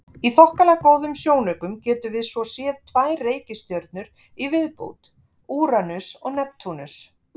Í þokkalega góðum sjónaukum getum við svo séð tvær reikistjörnur í viðbót, Úranus og Neptúnus.